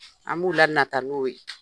An b'u lanata n'o ye.